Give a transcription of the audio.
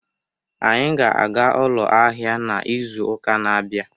Anyị ga-aga ụlọ ahịa n'izu uka na-abịa.